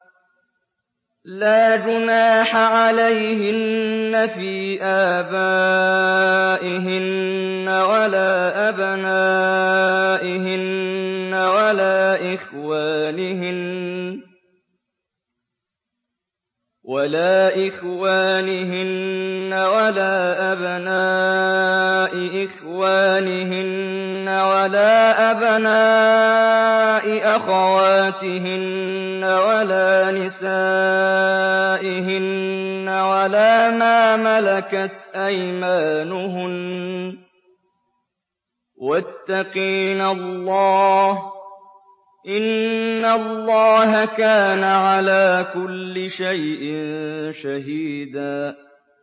لَّا جُنَاحَ عَلَيْهِنَّ فِي آبَائِهِنَّ وَلَا أَبْنَائِهِنَّ وَلَا إِخْوَانِهِنَّ وَلَا أَبْنَاءِ إِخْوَانِهِنَّ وَلَا أَبْنَاءِ أَخَوَاتِهِنَّ وَلَا نِسَائِهِنَّ وَلَا مَا مَلَكَتْ أَيْمَانُهُنَّ ۗ وَاتَّقِينَ اللَّهَ ۚ إِنَّ اللَّهَ كَانَ عَلَىٰ كُلِّ شَيْءٍ شَهِيدًا